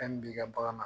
Fɛn min b'i ka bagan na